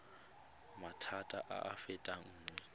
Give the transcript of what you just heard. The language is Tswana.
maphata a a fetang nngwe